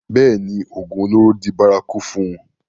bẹ́ẹ̀ni, ògùn olóró di bárakú fún un